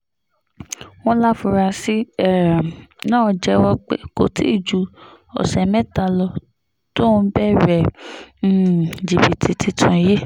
wọ́n láforasí um náà jẹ́wọ́ pé kò tí ì ju ọ̀sẹ̀ mẹ́ta lọ tóun bẹ̀rẹ̀ um jìbìtì tuntun yìí